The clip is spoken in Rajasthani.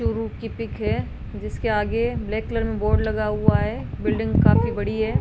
चूरू की पिक है जिसके आगे ब्लैक कलर में बोर्ड लगा हुआ है बिल्डिंग काफी बड़ी है।